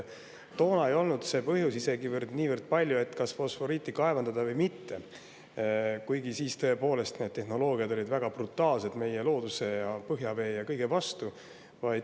Toona ei olnud see põhjus isegi niivõrd palju see, kas fosforiiti kaevandada või mitte, kuigi siis need tehnoloogiad olid väga brutaalselt meie looduse, põhjavee ja kõige vastu.